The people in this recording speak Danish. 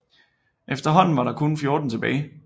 Efterhånden var der kun 14 tilbage